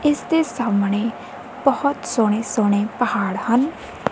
ਇਸਦੇ ਸਾਹਮਣੇ ਬਹੁਤ ਸੋਹਣੇ ਸੋਹਣੇ ਪਹਾੜ ਹਨ।